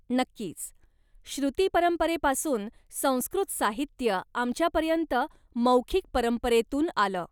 नक्कीच! श्रृती परंपरेपासून संस्कृत साहित्य आमच्यापर्यंत मौखिक परंपरेतून आलं.